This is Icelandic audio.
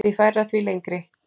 Því færra, því lengri.